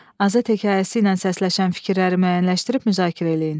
Azad hekayəsi ilə səsləşən fikirləri müəyyənləşdirib müzakirə eləyin.